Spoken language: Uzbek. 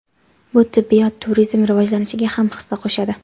Bu tibbiyot turizmi rivojlanishiga ham hissa qo‘shadi.